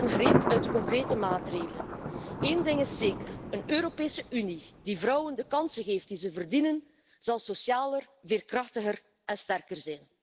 Het is slechts een greep uit de concrete maatregelen. Eén ding is zeker een Europese Unie die vrouwen de kansen geeft die ze verdienen, zal socialer, veerkrachtiger en sterker zijn.